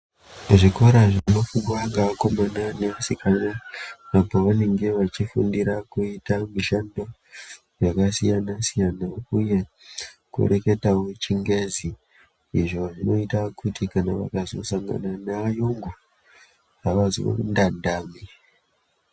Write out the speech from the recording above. Kuzvikora zvinofundwa ngeakomana neasikana apo vanenge vachifundira kuita mishando yakasiyana-siyana uye kureketawo chingezi. Izvo zvinoita kuti kana vakazosangana neayungu, avazondandami.